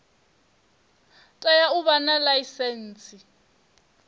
tea u vha na ḽaisentsi